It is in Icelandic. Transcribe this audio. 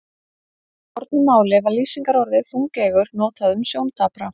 Í fornu máli var lýsingarorðið þungeygur notað um sjóndapra.